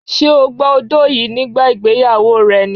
Ṣé o gba odó yìí nígbà ìgbéyàwó rẹ ni?